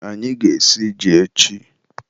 anyị ga-esi ji echi